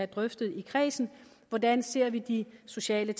drøftet i kredsen hvordan ser vi de sociale